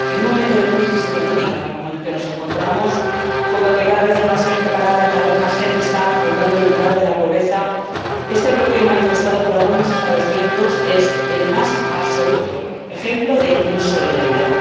En un momento de crisis económica, como en el que nos encontramos, donde cada vez hay más gente parada, cada vez más gente está rondando el umbral de la pobreza, este bloqueo manifestado por algunos Estados miembros es el más absoluto ejemplo de insolidaridad.